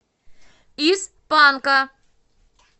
из панка